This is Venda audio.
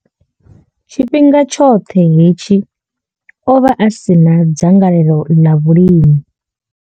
Tshifhinga tshoṱhe hetshi o vha a si na dzangalelo ḽa vhulimi.